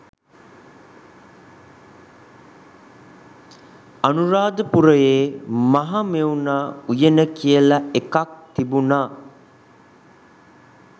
අනුරාධපුරේ මහමෙවුනා උයන කියලා එකක් තිබුනා.